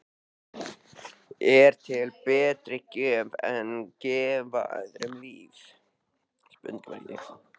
Er til betri gjöf en að gefa öðrum líf?